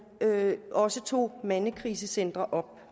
også tog mandekrisecentre op